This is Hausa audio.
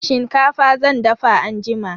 Shinkafa zan dafa anjima.